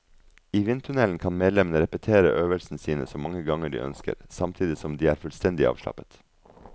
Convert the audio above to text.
I vindtunnelen kan medlemmene repetere øvelsene sine så mange ganger de ønsker, samtidig som de er fullstendig avslappet.